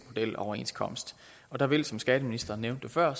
modeloverenskomst og der vil som skatteministeren nævnte det før